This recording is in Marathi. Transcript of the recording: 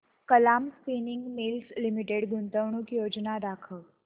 कलाम स्पिनिंग मिल्स लिमिटेड गुंतवणूक योजना दाखव